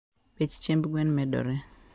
bech chiemb gwen medore.